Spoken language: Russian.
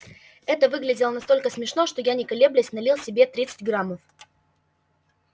это выглядело настолько смешно что я не колеблясь налил себе тридцать граммов